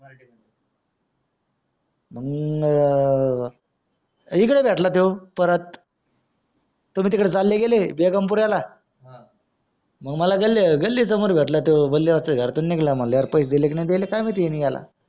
मंगा इकडे भेटला तो परत तुम्ही तिथे चाले गेले बेगमपुऱ्याला मंग मला गले गली समोर भेटला त्यो घरातून निघाला म्हणल्यावर पैसे दिले न दिले ह्यांनी ह्याला